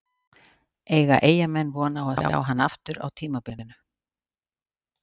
Eiga Eyjamenn von á að sjá hann aftur á tímabilinu?